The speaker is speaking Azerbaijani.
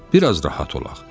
Bir az rahat olaq.